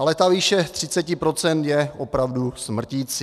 Ale ta výše 30 % je opravdu smrticí.